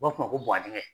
U b'a fɔ ma ko